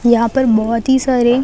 यहाँ पर बहुत ही सारे--